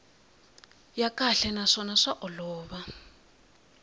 ya kahle naswona swa olova